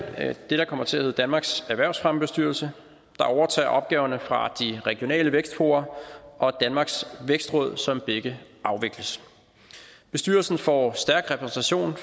det der kommer til at hedde danmarks erhvervsfremmebestyrelse der overtager opgaverne fra regionale vækstfora og danmarks vækstråd som begge afvikles bestyrelsen får stærk repræsentation